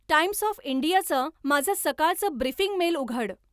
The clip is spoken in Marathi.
टाइम्स ऑफ इंडियाचं माझं सकाळचं ब्रीफींग मेल उघड